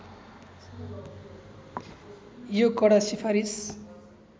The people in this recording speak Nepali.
यो कडा सिफारिस